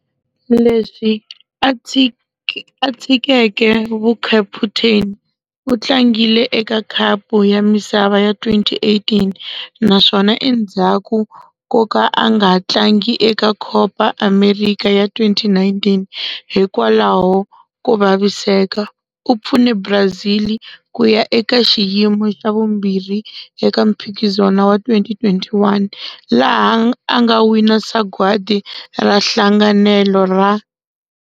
Leswi a tshikeke vukaputeni, u tlangile eka Khapu ya Misava ya 2018, naswona endzhaku ko ka a nga tlangi eka Copa América ya 2019 hikwalaho ko vaviseka, u pfune Brazil ku ya eka xiyimo xa vumbirhi eka mphikizano wa 2021, laha a nga wina sagwadi ra nhlanganelo ra.